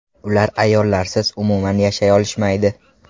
Ular ayollarsiz umuman yashay olishmaydi!